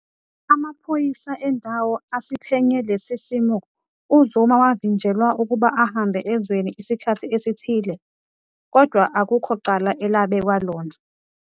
Amaphoyisa endawo asiphenye lesi simo, uZuma wavinjelwa ukuba ahambe ezweni isikhathi esithile, kodwa akukho cala elabekwa lona.